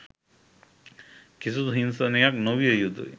කිසිදු හිංසනයක් නොවිය යුතුයි